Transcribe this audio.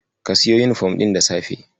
Ka siyo yunifom ɗin da safe.